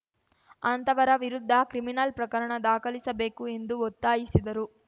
ಅಂತವರ ವಿರುದ್ಧ ಕ್ರಿಮಿನಲ್‌ ಪ್ರಕರಣ ದಾಖಲಿಸಬೇಕು ಎಂದು ಒತ್ತಾಯಿಸಿದರು